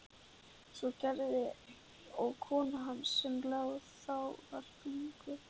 Svo gerði og kona hans sem þá var þunguð.